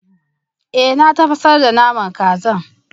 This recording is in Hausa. Ee na tafasar da naman kazan